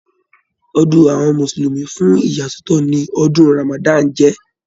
Ọdún àwọn mùsùlùmí fún ìyasọtọ ní ọdún ramadan jẹ.